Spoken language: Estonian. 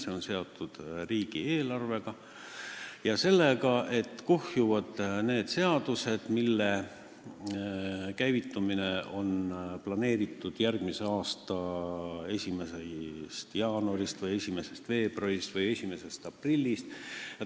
See on seotud riigieelarvega ja sellega, et kuhjuvad need seadused, mis on planeeritud käivituma järgmise aasta 1. jaanuarist, 1. veebruarist või 1. aprillist.